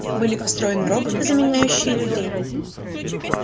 были построены роботы заменяющие людей